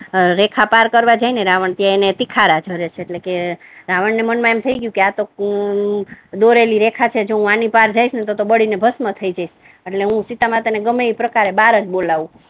રેખા પાર કરવા જાય ને રાવણ ત્યા એને તીખારા કરે છે એટલે કે રાવણ ના મન મા એમ થઇ ગયુ કે આ તો દોરેલી રેખા છે હુ આની પાર જઈને તો બળી ને ભષ્મ થઈ જઈશ એટલે હુ સીતામાતા ને ગમે તે પ્રકારે બાહર જ બોલાવુ